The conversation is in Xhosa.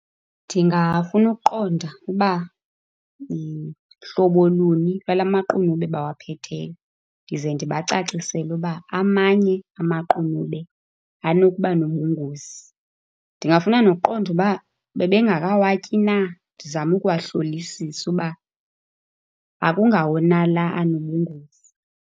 Ndingafuna ukuqonda uba hlobo luni lwala maqunube bawaphetheyo, ndize ndibacacisele uba amanye amaqunube anokuba nobungozi. Ndingafuna noqonda uba bebengakawatyi na, ndizame ukuwahlolisisa uba akungawo na la anobungozi.